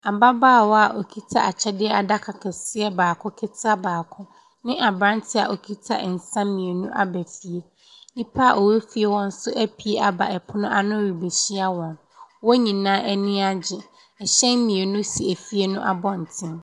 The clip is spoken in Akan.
Ababaawa a ɔkita akyɛdeɛ adaka kɛseɛ baako ketewa baako ne aberanteɛ a ɔkita nsa mmienu aba fie. Nnipa a ɔwɔ fie hɔ nso aba pono ano rebɛhyia wɔ, wɔn nyinaa ani agye. Ɛhyɛn mmienu si efie no abɔntene.